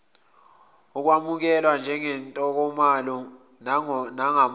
ukwamukelwa ngentokomalo nangomdlandla